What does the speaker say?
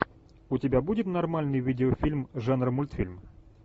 у тебя будет нормальный видеофильм жанра мультфильм